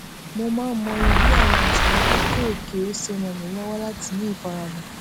mo máa ń mọyì bí àwọn ìṣòro kéékèèké ṣe ràn mí lówó láti ní ìfaradà